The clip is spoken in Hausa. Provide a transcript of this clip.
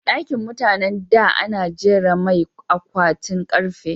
Ɗakin mutanan da ana jera mai akwatin karfe